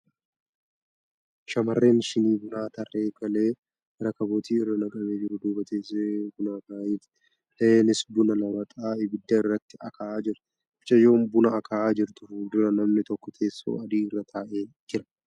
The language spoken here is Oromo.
Shamarreen shinii bunaa tarree kalee rakaboota irra naqamee jiru duuba teessee buna akaa'aa jirti. Iaheenis buna ramaxa ibidda irratti akaa'aa jirti. Mucayyoo buna akaa'aa jirtu fuuldura namni tokko teessoo adii irra taa'ee jira.